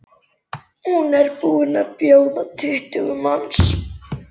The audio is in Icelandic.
Hún er búin að bjóða tuttugu manns.